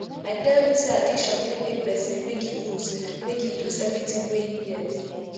i tell you sey addiction fit make pesin make e loose make e loose everytin wey im get